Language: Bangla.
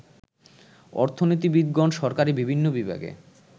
অর্থনীতিবিদগণ সরকারী বিভিন্ন বিভাগে